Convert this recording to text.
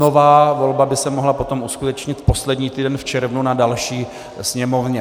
Nová volba by se mohla potom uskutečnit v posledním týdnu v červnu na další sněmovně.